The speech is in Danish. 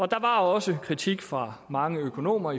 der var også kritik fra mange økonomer